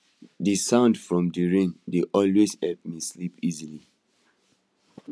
d sound from d rain dey always help me sleep easily